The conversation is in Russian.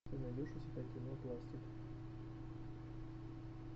ты найдешь у себя кино пластик